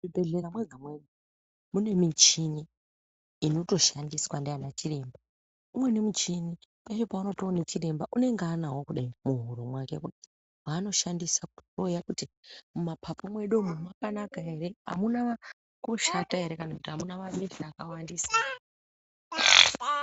Muzvibhedhlera mwega-mwega, mune michhini inotoshandiswa ndiana chiremba. Umweni michhini, peshe peunotoona chiremba unenge anawo muhuro mwake kudai, waanoshandisa kuhloya kuti mumaphaphu mwedu umwu mwakanaka ere? Amuna kushata ere, kana kuti amuna mabesha akawandisa ere?